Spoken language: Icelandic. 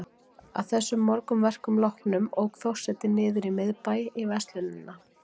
Að þessum morgunverkum loknum ók forseti niður í miðbæ, í verslunina